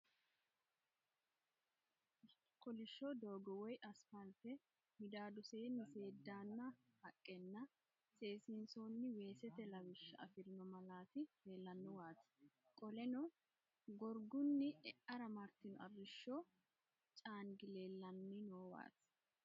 Kolishsho doogo woy asipaalte, midaadoseenni seeddaanna haqqenna seesiinsoonni weesete lawisha afirino malaati leellanowaati. Qoleno gorgunni e'ara martino arrishsho caangi leellanni noowa.